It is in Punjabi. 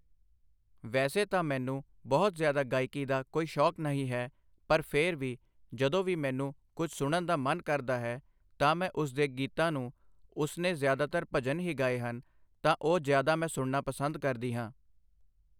ਵੈਸੇ ਤਾਂ ਮੈਨੂੰ ਬਹੁਤ ਜ਼ਿਆਦਾ ਗਾਇਕੀ ਦਾ ਕੋਈ ਸ਼ੌਂਕ ਨਹੀਂ ਹੈ ਪਰ ਫਿਰ ਵੀ ਜਦੋਂ ਵੀ ਮੈਨੂੰ ਕੁਛ ਸੁਣਨ ਦਾ ਮਨ ਕਰਦਾ ਹੈ ਤਾਂ ਮੈਂ ਉਸਦੇ ਗੀਤਾਂ ਨੂੰ ਉਸਨੇ ਜ਼ਿਆਦਾਤਰ ਭਜਨ ਹੀ ਗਾਏ ਹਨ ਤਾਂ ਉਹ ਜ਼ਿਆਦਾ ਮੈਂ ਸੁਣਨਾ ਪਸੰਦ ਕਰਦੀ ਹਾਂ